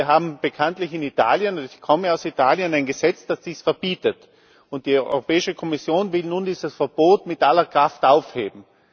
Wir haben bekanntlich in Italien ich komme aus Italien ein Gesetz, das dies verbietet. Die Europäische Kommission will nun dieses Verbot mit aller Kraft aufheben.